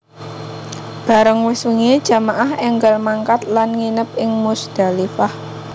Bareng wis wengi jamaah énggal mangkat lan nginep ing Muzdalifah